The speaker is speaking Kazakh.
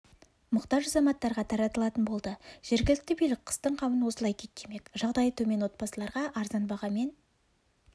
мұқтаж азаматтарға таратылатын болды жергілікті билік қыстың қамын осылай күйттемек жағдайы төмен отбасыларға арзан бағамен